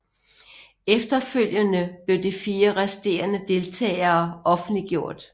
Efterfølgende blev de 4 resterende deltagere offentliggjort